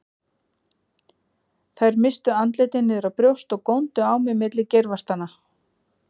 Þær misstu andlitin niður á brjóst og góndu á mig milli geirvartanna.